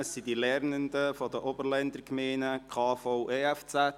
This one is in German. Es sind die KV-EFZ-Lernenden der Oberländer Gemeinden.